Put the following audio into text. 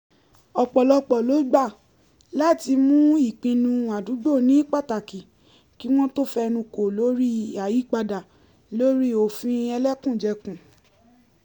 ọpọlọpọ lo gbà láti mú ìpinnu àdúgbò ní pátákì kí wọ́n tó fẹnu kò lórí àyípadà lórí òfin ẹlẹ́kùnjẹkùn